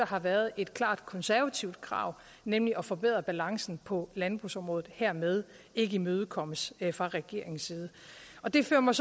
har været et klart konservativt krav nemlig at forbedre balancen på landbrugsområdet dermed ikke imødekommes fra regeringens side det fører mig